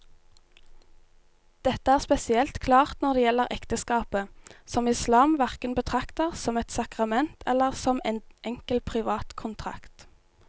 Dette er spesielt klart når det gjelder ekteskapet, som islam hverken betrakter som et sakrament eller som en enkel privat kontrakt.